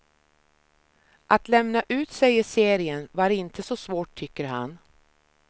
Att lämna ut sig i serien var inte så svårt tycker han.